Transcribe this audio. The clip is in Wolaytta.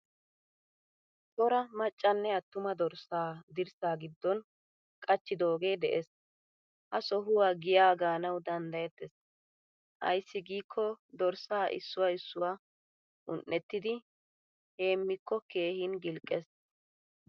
Cora maccanne attuma dorssa dirssa giddon qachchidoge de'ees. Ha sohuwa giyaa gaanawu danddayettees. Ayssi gikko dorssa issuwaa issuwa un'ettidi heemiko keehin gilqqees.